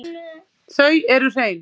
Þau eru hrein.